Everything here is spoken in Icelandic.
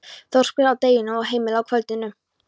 Þórbergs að deginum og heimili að kvöldinu.